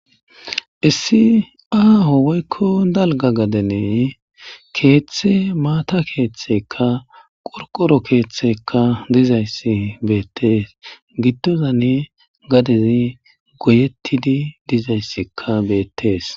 Issi aaho woykko dalga gadenee keeththe maata keeththeka qorqoro keeththekka dizayssi beettees gittozanne gadezi goyettidi dizayssikka beettees